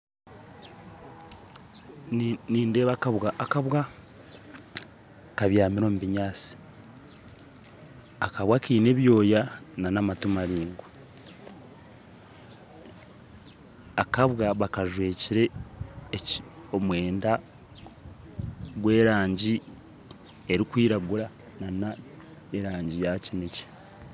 Nindeeba akabwa kabyamire omu binyaatsi akabwa kaine ebyoya na n'amatu maraingwa. Akabwa bakajwekere omwenda gwa erangi erikwiragura na na erangi ya kinekye